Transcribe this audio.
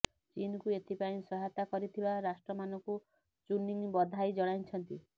ଚୀନକୁ ଏଥିପାଇଁ ସହାୟତା କରିଥିବା ରାଷ୍ଟ୍ରମାନଙ୍କୁ ଚୁନିଂ ବଧାଇ ଜଣାଇଛନ୍ତି